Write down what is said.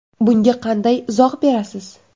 Bunga qanday izoh berasiz.